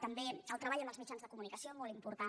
també el treball amb els mitjans de comunicació molt important